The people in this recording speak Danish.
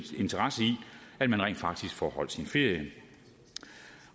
at man rent faktisk får holdt sin ferie